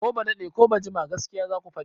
Ko ba daɗe ko ba jima gaskiya zaku faɗi!